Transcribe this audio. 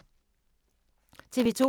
TV 2